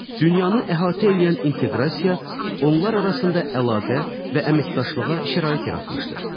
Dünyanı əhatə eləyən inteqrasiya onlar arasında əlaqə və əməkdaşlığa şərait yaratmışdır.